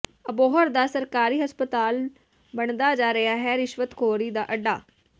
ਅਬੋਹਰ ਦਾ ਸਰਕਾਰੀ ਹਸਪਤਾਲ ਬਣਦਾ ਜਾ ਰਿਹਾ ਹੈ ਰਿਸ਼ਵਤਖੌਰੀ ਦਾ ਅੱਡਾ